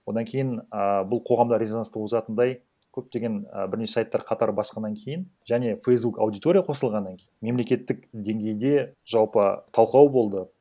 одан кейін а бұл қоғамда резонанс туғызатындай көптеген і бірнеше сайттар қатар басқаннан кейін және фейсбук аудитория қосылғаннан кейін мемлекеттік денгейде жалпы талқылау болды